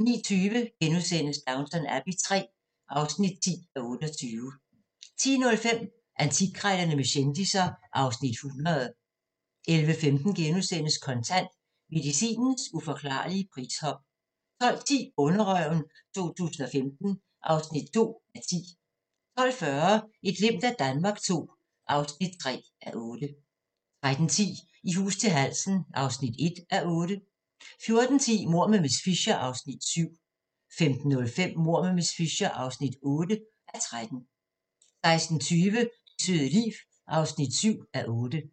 09:20: Downton Abbey III (10:28)* 10:05: Antikkrejlerne med kendisser (Afs. 100) 11:15: Kontant: Medicinens uforklarlige prishop * 12:10: Bonderøven 2015 (2:10) 12:40: Et glimt af Danmark II (3:8) 13:10: I hus til halsen (1:8) 14:10: Mord med miss Fisher (7:13) 15:05: Mord med miss Fisher (8:13) 16:20: Det søde liv (7:8)